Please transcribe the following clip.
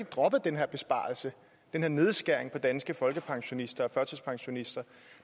droppet den her besparelse den her nedskæring i danske folkepensionister og førtidspensionister